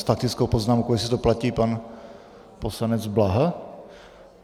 S faktickou poznámkou, jestli to platí, pan poslanec Bláha?